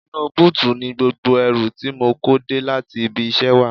Inú búùtì ni gbogbo ẹrù tí mo kó dé láti ibi iṣẹ́ wà